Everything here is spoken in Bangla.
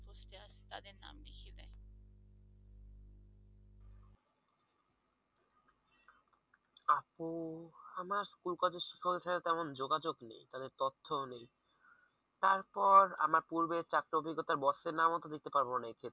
আপু আমার স্কুল-কলেজের শিক্ষকদের সাথে তেমন যোগাযোগ নেই তাদের তথ্যও নেই তারপর আমার পূর্বের চাকরির অভিজ্ঞতার boss এর নামও তো দিতে পারবো না এক্ষেত্রে।